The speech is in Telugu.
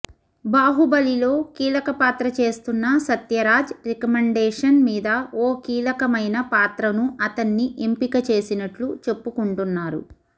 బాహుబలిలో కీలక పాత్ర చేస్తున్న సత్యరాజ్ రికమెండేషన్ మీద ఓ కీలకమైన పాత్రను అతన్ని ఎంపిక చేసినట్లు చెప్పుకుంటున్నారు